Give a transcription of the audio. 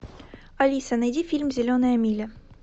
алиса найди фильм зеленая миля